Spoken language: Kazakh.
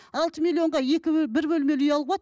алты миллионға екі бір бөлмелі үй алуға болады